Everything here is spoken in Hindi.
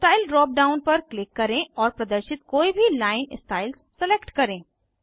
स्टाइल ड्राप डाउन पर क्लिक करें और प्रदर्शित कोई भी लाइन स्टाइल्स सलेक्ट करें